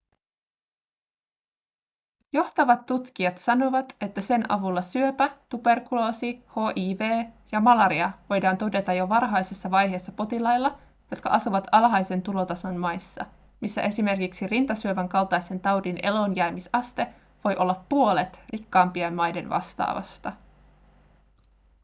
johtavat tutkijat sanovat että sen avulla syöpä tuberkuloosi hiv ja malaria voidaan todeta jo varhaisessa vaiheessa potilailla jotka asuvat alhaisen tulotason maissa missä esimerkiksi rintasyövän kaltaisen taudin eloonjäämisaste voi olla puolet rikkaampien maiden vastaavasta